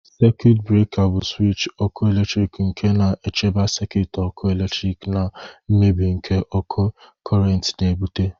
Sekit breka bụ swịtch ọkụ eletrik nke na-echebe sekit ọkụ eletrik na mmebi nke ókè cọrent na- ebụte